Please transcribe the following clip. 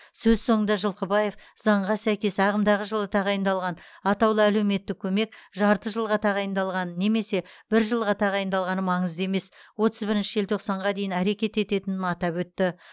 сөз соңында жылқыбаев заңға сәйкес ағымдағы жылы тағайындалған атаулы әлеуметтік көмек жарты жылға тағайындалғаны немесе бір жылға тағайындалғаны маңызды емес отыз бірінші желтоқсанға дейін әрекет ететінін атап өтті